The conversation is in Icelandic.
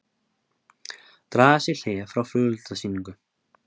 Draga sig í hlé frá flugeldasýningu